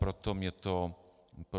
Proto mě to mrzí.